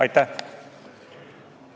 Aitäh!